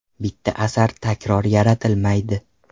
Bitta asar takror yaratilmaydi.